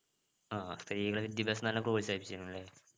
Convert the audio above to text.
ആഹ് സ്ത്രീകളുടെ വിദ്യാഭ്യാസത്തിന് നല്ല പ്രോത്സാഹിപ്പിചിന് അല്ലേ